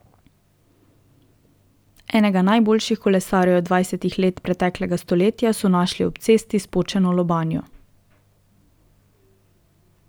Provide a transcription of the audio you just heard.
Enega najboljših kolesarjev dvajsetih let preteklega stoletja so našli ob cesti s počeno lobanjo.